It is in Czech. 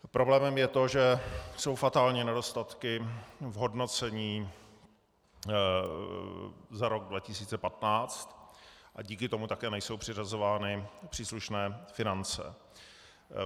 Problémem je to, že jsou fatální nedostatky v hodnocení za rok 2015, a díky tomu také nejsou přiřazovány příslušné finance.